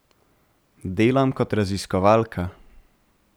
Delam kot raziskovalka.